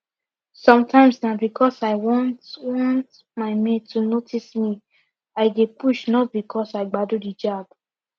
sometimes na because i want want my mate to notice me i dey push not because i gbadu the jab